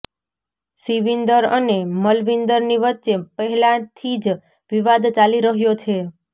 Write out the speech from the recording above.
શિવિંદર અને મલવિંદરની વચ્ચે પહેલાથી જ વિવાદ ચાલી રહ્યો છે